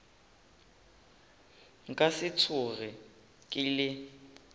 nka se tsoge ke le